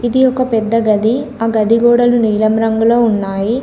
ఇది ఒక పెద్ద గది. ఆ గది గోడలు నీలం రంగులో ఉన్నాయి.